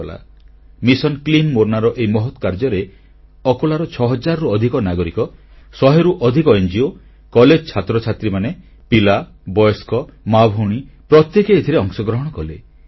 ମୋର୍ନା ସ୍ବଚ୍ଛତା ମିସନ ବା mission clean Morna ନାମକ ଏହି ମହତ୍ କାର୍ଯ୍ୟରେ ଆକୋଲାର ଛଅ ହଜାରରୁ ଅଧିକ ନାଗରିକ ଶହେରୁ ଅଧିକ ଙ୍ଗୋ କଲେଜ ଛାତ୍ରଛାତ୍ରୀ ପିଲା ବୟସ୍କ ମା ଭଉଣୀ ପ୍ରତ୍ୟେକେ ଏଥିରେ ଅଂଶଗ୍ରହଣ କଲେ